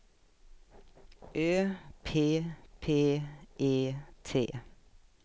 Ö P P E T